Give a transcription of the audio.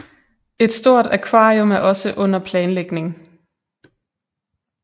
Et stort akvarium er også under planlægning